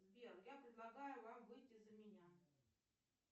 сбер я предлагаю вам выйти за меня